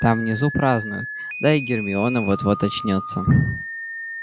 там внизу празднуют да и гермиона вот-вот очнётся